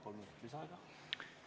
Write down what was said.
Palun kolm minutit lisaaega!